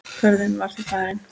Ferðin var því farin.